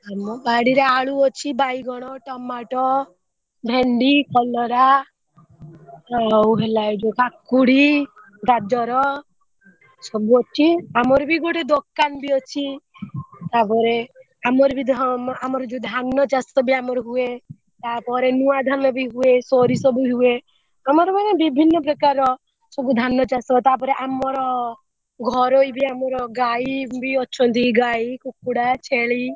ଆମ ବାଡିରେ ଆଳୁ ଅଛି ବାଇଗଣ ଟମାଟ ଭେଣ୍ଡି କଲରା ଆଉ ହେଲା ଏଇ ଯୋଉ କାକୁଡି ଗାଜର ସବୁ ଅଛି ଆମର ବି ଗୋଟେ ଦୋକାନ ବି ଅଛି ତାପରେ ଆମର ବି ହଁ ଆମର ଯୋଉ ଧାନ ଚାଷ ବି ଆମର ହୁଏ ତାପରେ ନୂଆ ଧାନ ବି ହୁଏ ସୋରିଷ ବି ହୁଏ ଆମର ମାନେ ବିଭିନ ପ୍ରକାର ର ସବୁ ଧାନ ଚାଷ ତାପରେ ଆମର ଘରୋଇ ବି ଆମର ଗାଈ ବି ଅଛନ୍ତି ଗାଈ କୁକୁଡ଼ା ଛେଳି।